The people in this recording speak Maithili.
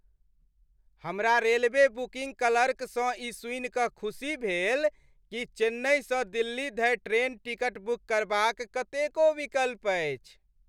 हमरा रेलवे बुकिंग क्लर्कसँ ई सुनि कऽ खुशी भेल कि चेन्नईसँ दिल्ली धरि ट्रेन टिकट बुक करबाक कतेको विकल्प अछि।